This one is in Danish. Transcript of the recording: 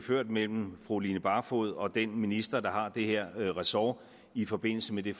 mellem fru line barfod og den minister der har det her ressort i forbindelse med det